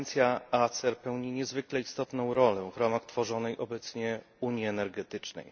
Agencja ACER pełni niezwykle istotną rolę w ramach tworzonej obecnie unii energetycznej.